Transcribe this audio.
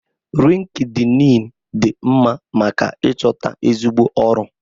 Lịnkịdịịnị dị mma maka ịchọta ezigbo ọrụ.